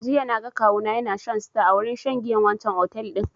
Jiya na ga kawu na ya na shan star a wurin shan giyan wancan otel din